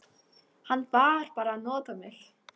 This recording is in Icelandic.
Hann var bara að nota mig.